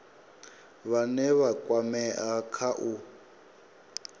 vhane vha kwamea kha u